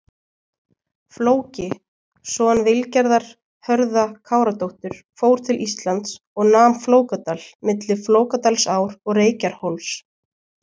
Flóki, son Vilgerðar Hörða-Káradóttur fór til Íslands og nam Flókadal, milli Flókadalsár og Reykjarhóls.